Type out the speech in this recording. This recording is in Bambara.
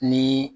Ni